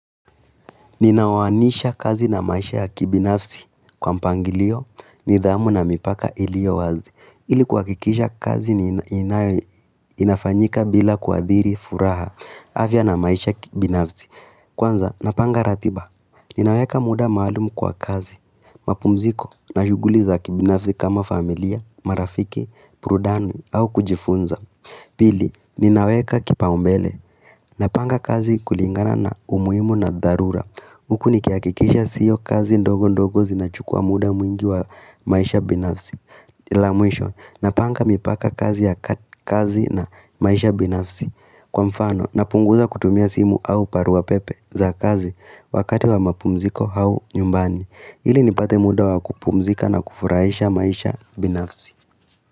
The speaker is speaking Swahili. Ninawaanisha kazi na maisha ya kibinafsi kwa mpangilio ni dhamu na mipaka ilio wazi ili kwa kikisha kazi ni inafanyika bila kuadhiri furaha afyaa na maisha kibinafsi Kwanza, napanga ratiba, ninaweka muda maalumu kwa kazi, mapumziko na shuguli za kibinafsi kama familia, marafiki, burudani au kujifunza Pili, ninaweka kipaumbele, napanga kazi kulingana na umuhimu na dharura huku nikiakikisha siyo kazi ndogo ndogo zinachukua muda mwingi wa maisha binafsi na panga mipaka kazi na maisha binafsi Kwa mfano, napunguza kutumia simu au barua pepe za kazi wakati wa mapumziko au nyumbani ili nipate muda wa kupumzika na kufurahisha maisha binafsi.